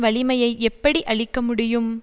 வலிமையை எப்படி அழிக்க முடியும்